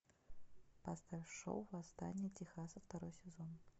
поставь шоу восстание техаса второй сезон